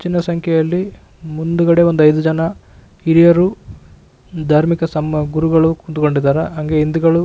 ಹೆಚ್ಚಿನ ಸಂಖ್ಯೆಯಲ್ಲಿ ಮುಂದುಗ್ಗಡೆ ಒಂದು ಐದು ಜನ ಹಿರಿಯರು ಧಾರ್ಮಿಕ ಗುರುಗಳು ಕುಂಥ್ಕೊಂಡಿದರ ಹಾಗೆ ಹಿಂದುಗಳು --